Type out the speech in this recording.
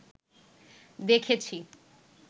দেখেছি